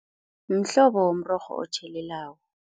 Mhlobo womrorho otjhelelako.